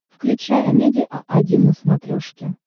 включай амедиа один на смотрешке